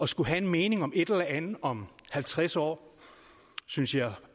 skulle have en mening om et eller andet om halvtreds år synes jeg